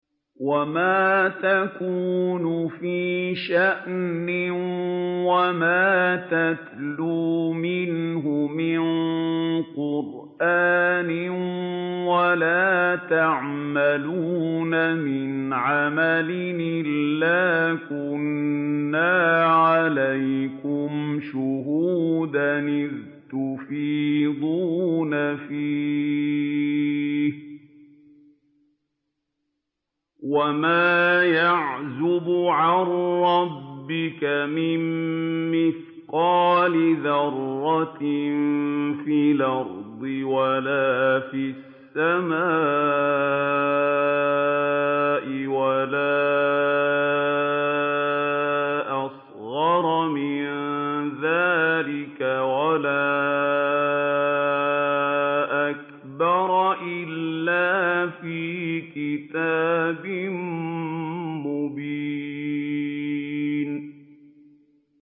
وَمَا تَكُونُ فِي شَأْنٍ وَمَا تَتْلُو مِنْهُ مِن قُرْآنٍ وَلَا تَعْمَلُونَ مِنْ عَمَلٍ إِلَّا كُنَّا عَلَيْكُمْ شُهُودًا إِذْ تُفِيضُونَ فِيهِ ۚ وَمَا يَعْزُبُ عَن رَّبِّكَ مِن مِّثْقَالِ ذَرَّةٍ فِي الْأَرْضِ وَلَا فِي السَّمَاءِ وَلَا أَصْغَرَ مِن ذَٰلِكَ وَلَا أَكْبَرَ إِلَّا فِي كِتَابٍ مُّبِينٍ